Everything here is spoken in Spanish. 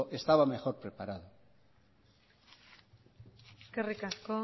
estaba mejor preparado eskerrik asko